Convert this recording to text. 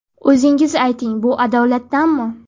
O‘zingiz ayting, bu adolatdanmi?